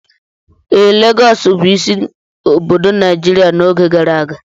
Ee, Lagọọsù bụ isi obodo Nigeria n'oge gara aga